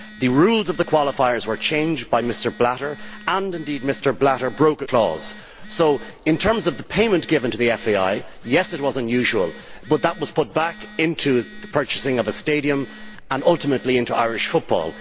The rules of the qualifiers were changed by Mr Blatter and, indeed, Mr Blatter broke a confidentiality clause. So in terms of the payment given to the FAI yes, it was unusual, but that was put back into the purchasing of a stadium and, ultimately, into Irish football.